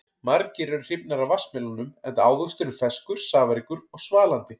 Margir eru hrifnir af vatnsmelónum enda ávöxturinn ferskur, safaríkur og svalandi.